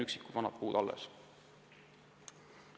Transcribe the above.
Üksikud vanad puud on alles.